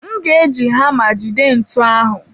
M ga-eji hama jide ntu ahụ.